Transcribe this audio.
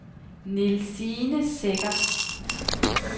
Nielsine Secher